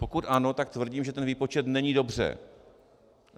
Pokud ano, tak tvrdím, že ten výpočet není dobře.